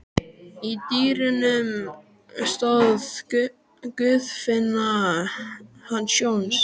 Í dyrunum stóð Guðfinna hans Jóns.